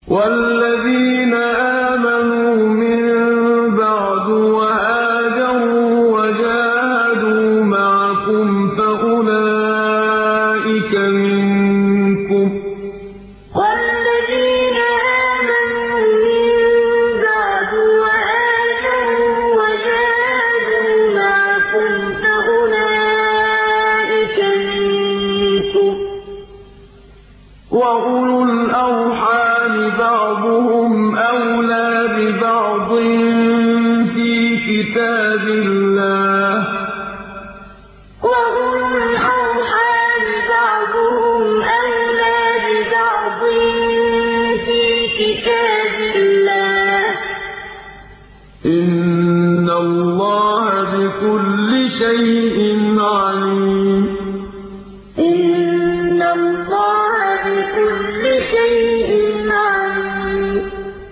وَالَّذِينَ آمَنُوا مِن بَعْدُ وَهَاجَرُوا وَجَاهَدُوا مَعَكُمْ فَأُولَٰئِكَ مِنكُمْ ۚ وَأُولُو الْأَرْحَامِ بَعْضُهُمْ أَوْلَىٰ بِبَعْضٍ فِي كِتَابِ اللَّهِ ۗ إِنَّ اللَّهَ بِكُلِّ شَيْءٍ عَلِيمٌ وَالَّذِينَ آمَنُوا مِن بَعْدُ وَهَاجَرُوا وَجَاهَدُوا مَعَكُمْ فَأُولَٰئِكَ مِنكُمْ ۚ وَأُولُو الْأَرْحَامِ بَعْضُهُمْ أَوْلَىٰ بِبَعْضٍ فِي كِتَابِ اللَّهِ ۗ إِنَّ اللَّهَ بِكُلِّ شَيْءٍ عَلِيمٌ